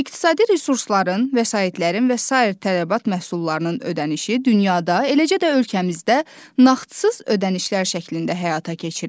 İqtisadi resursların, vəsaitlərin və sair tələbat məhsullarının ödənişi dünyada, eləcə də ölkəmizdə nağdsız ödənişlər şəklində həyata keçirilir.